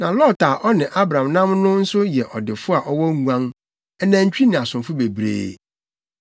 Na Lot a ɔne Abram nam no nso yɛ ɔdefo a ɔwɔ nguan, anantwi ne asomfo bebree.